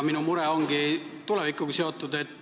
Minu mure aga on tulevikuga seotud.